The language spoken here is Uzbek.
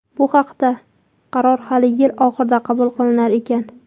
Bu haqda qaror hali yil oxirida qabul qilinar ekan.